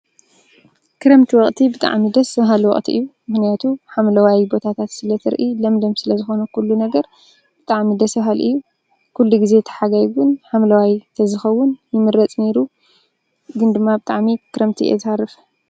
ክረምቲ ወቅቲ ብጣዕሚ ደደስ ባሃሊ ወቅቲ እዩ። ምክንያቱም ሓምለዋይ ቦታት ስለ እትሪኢ፣ ለምለም ዝኮነ ኩሉ ነገር ብጣዕሚ ደስ በሃሊ እዩ። ኩሉ ግዜ እቲ ሓጋይ እውን ሓምለዋይ እንተዝከውን ይምረፅ ነይሩ። ግን ድማ ብጣዕሚ ክረምቲ እየ ዝሃርፍ።